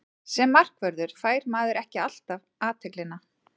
Sem markvörður fær maður ekki alltaf athyglina.